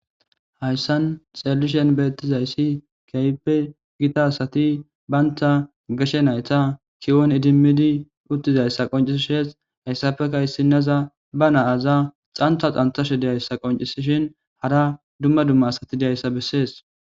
Haysan xelishn betizays keehippe Gita asat banta gashe nayta kw'on idimid utidaysa qonciseshes,haysappeka issineza ba naza xantha xanthasehe dizaysa qoncisishin hara dumma dumma dizaysa beses.